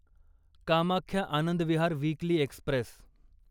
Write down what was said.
Kamakhya Anand Vihar weekly Express